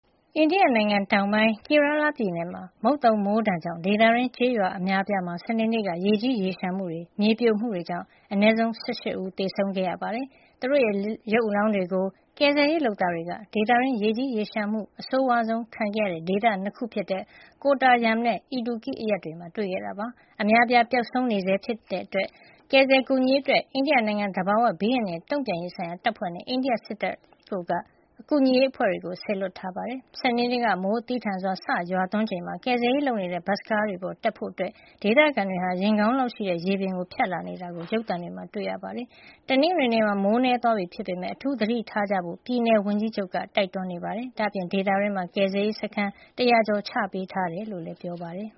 အိန္ဒိယနိုင်ငံ တောင်ပိုင်းက Kerala ပြည်နယ်မှာ မုတ်သုံမိုးဒဏ်ကြောင့် ဒေသတွင်း ကျေးရွာအများအပြားမှာ စနေနေ့က ရေကြီးရေလျှံမှုတွေ၊ မြေပြိုမှုတွေကြောင့် အနည်းဆုံး ၁၈ ဦး သေဆုံးခဲ့ရပါတယ်။ သူတို့ရဲ့ ရုပ်အလောင်းတွေကို ကယ်ဆယ်ရေးလုပ်သားတွေက ဒေသတွင်း ရေကြီးရေလျှံမှုနဲ့ မြေပြိုမှုတွေ အဆိုးဝါးဆုံးခံရတဲ့ ဒေသ ၂ ခုဖြစ်တဲ့ Kottayam နဲ့ Idukki အရပ်တွေမှာ တွေ့ရှိခဲ့တာပါ။ အများအပြား ပျောက်ဆုံးနေဆဲ ဖြစ်နိုင်တဲ့အတွက် ကယ်ဆယ်ကူညီရေးအတွက် အိန္ဒိယနိုင်ငံ သဘာဝဘေးအန္တရာယ် တုံ့ပြန်ရေးဆိုင်ရာ တပ်ဖွဲ့နဲ့ အိန္ဒိယစစ်တပ်တို့က ကူညီရေးအဖွဲ့တွေ စေလွှတ်ပေးနေပါတယ်။ စနေနေ့က မိုးသည်းထန်စွာ စတင်ရွာသွန်းချိန်မှာ ကယ်ဆယ်ရေးလုပ်နေတဲ့ ဘတ်စ်ကားပေါ်ကို တက်ဖို့ ဒေသခံတွေက ရင်ခေါင်းလောက်ရှိတဲ့ ရေပြင်ကို ဖြတ်ပြီး လာနေတာကို ရုပ်သံတွေမှာ တွေ့နေရပါတယ်။ တနင်္ဂနွေနေ့မှာ မိုးနည်းပါးသွားပြီးဖြစ်ပေမယ့် အထူးသတိထားကြဖို့ ပြည်နယ်ဝန်ကြီးချုပ် Pinarayi Vijayan က တိုက်တွန်းနေပါတယ်။ ဒါ့အပြင် ဒေသတွင်းမှာ ကယ်ဆယ်ရေးစခန်း ၁၀၀ ကျော် ထားပေးထားကြောင်းလည်း ပြောပါတယ်။